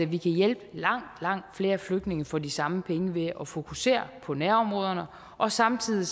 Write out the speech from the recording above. vi kan hjælpe langt langt flere flygtninge for de samme penge ved at fokusere på nærområderne og samtidig